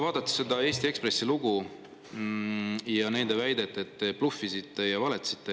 Vaadates seda Eesti Ekspressi lugu, on nende väide, et te bluffisite ja valetasite.